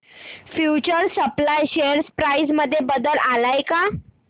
future supply share price मध्ये बदल आलाय का